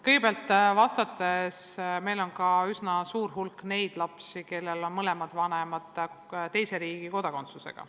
Kõigepealt, meil on üsna suur hulk ka neid lapsi, kellel on mõlemad vanemad teise riigi kodakondsusega.